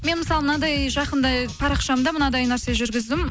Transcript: мен мысалы мынандай жақында парақшамда мынандай нәрсе жүргіздім